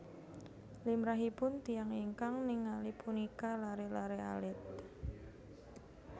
Limrahipun tiyang ingkang ningali punika laré laré alit